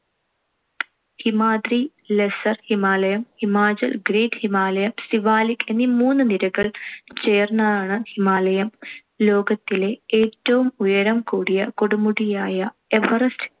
Himadri, lesser Himalayam Himachal, great Himalayam Siwalik എന്നീ മൂന്ന് നിരകൾ ചേർന്നതാണ് ഹിമാലയം. ലോകത്തിലെ ഏറ്റവും ഉയരം കൂടിയ കൊടുമുടിയായ എവറസ്റ്റ്